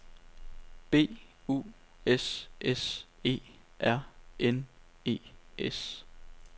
B U S S E R N E S